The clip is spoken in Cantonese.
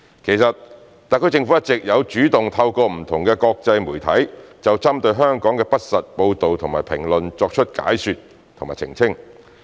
其實，特區政府一直有主動透過不同的國際媒體就針對香港的不實報道和評論作出解說和澄清。